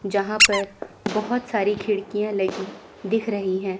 जहां पर बहोत सारी खिड़कियां लगी दिख रही है।